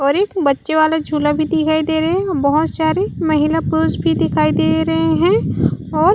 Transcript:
और एक बच्चे वाला झुला भी दिखाई दे रहे है बहोत सारे महिला पुरुष भी दिखाई दे रहे है और--